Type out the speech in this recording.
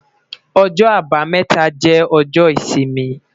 Ọjọ́-Àbámẹ́ta jẹ ọjọ isimi